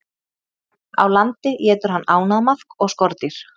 Á landi étur hann ánamaðk og skordýr.